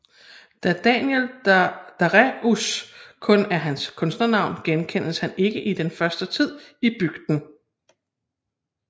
Da Daniel Daréus kun er hans kunstnernavn genkendes han ikke i den første tid i bygden